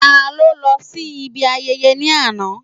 Ta ló lọ sí ibi ayẹyẹ ní àná?